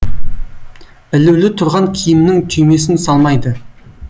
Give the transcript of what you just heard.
ілулі тұрған киімнің түймесін салмайды